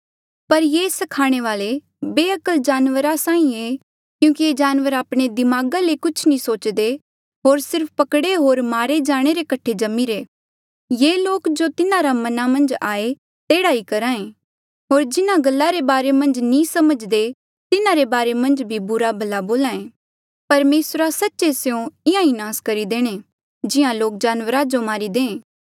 पर ये स्खाणे वाले बेअक्ल जानवरा साहीं ऐें क्यूंकि ये जानवर आपणे दिमागा ले कुछ नी सोचदे होर सिर्फ पकड़े होर मारे जाणे रे कठे जम्मिरे ये लोक जो तिन्हारे मना मन्झ आये तेह्ड़ा ही करहे होर जिन्हा गल्ला रे बारे मन्झ नी समझ्दे तिन्हारे बारे मन्झ भी बुरा भला बोल्हा ऐें परमेसरा सच्चे स्यों इंहां ही नास करी देणे जिहां लोक जानवरा जो मारी दे